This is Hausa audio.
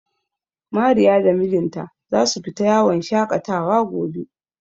Mariya da mijinta za su fita yawon shaƙatawa gobe.